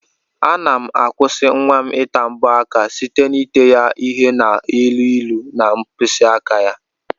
Ana m akwụsi nwam ita mbọ aka site n'ete ya ihe na elu ilu na mkpisi aka.